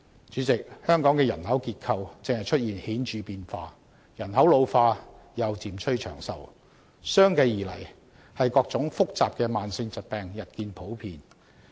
主席，香港的人口結構正出現顯著變化，人口老化又漸趨長壽，相繼而來的是各種複雜的慢性疾病日見普遍。